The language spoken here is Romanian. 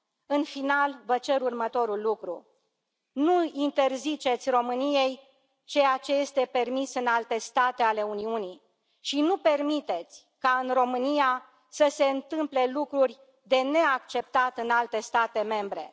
În final, vă cer următorul lucru nu îi interziceți României ceea ce este permis în alte state ale Uniunii și nu permiteți ca în România să se întâmple lucruri de neacceptat în alte state membre.